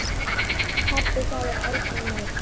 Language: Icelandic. Pabbi sagði aldrei neitt.